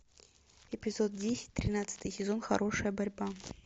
эпизод десять тринадцатый сезон хорошая борьба